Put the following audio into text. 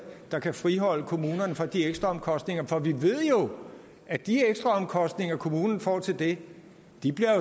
der kan friholde kommunerne fra de ekstraomkostninger for vi ved jo at de ekstraomkostninger kommunen får til det